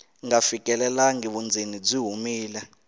nga fikelelangi vundzeni byi humile